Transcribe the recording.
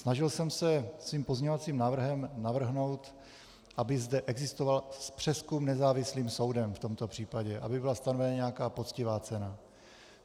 Snažil jsem se svým pozměňovacím návrhem navrhnout, aby zde existoval přezkum nezávislým soudem v tomto případě, aby byla stanovena nějaká poctivá cena.